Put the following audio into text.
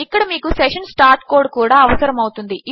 ఇక్కడ మీకు session start code కూడా అవసరము అవుతుంది